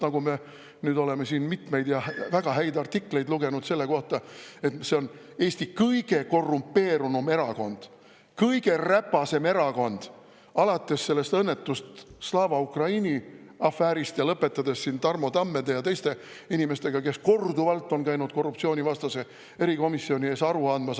Me nüüd oleme siin mitmeid väga häid artikleid lugenud selle kohta, et see on Eesti kõige korrumpeerunum erakond, kõige räpasem erakond, alates sellest õnnetust Slava Ukraini afäärist ja lõpetades Tarmo Tammede ja teiste inimestega, kes on käinud korduvalt korruptsioonivastase erikomisjoni ees aru andmas.